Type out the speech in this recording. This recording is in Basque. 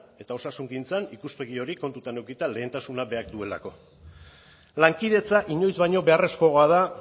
eta osasungintzan ikuspegi hori kontuan edukita lehentasuna berak duelako lankidetza inoiz baino beharrezkoa da